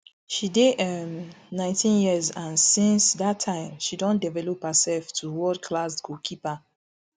she dey um nineteen years and since dat time she don develop hersef to world class goalkeeper